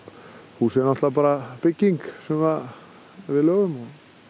húsið er náttúrulega bara bygging sem við lögum